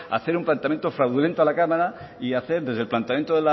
hacer un planteamiento fraudulento a la cámara y hacer desde el planteamiento